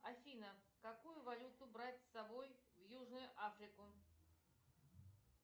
афина какую валюту брать с собой в южную африку